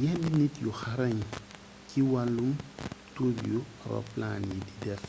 yenn nit yu xarañ ci wallum tur yu roplaan yi di def